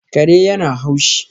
Kare yana haushi